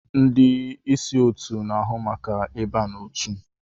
Ndị ịsị otu n'ahụ maka ịba n'otu.